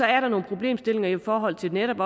er der nogle problemstillinger i forhold til netop